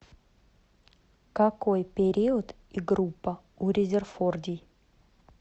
какой период и группа у резерфордий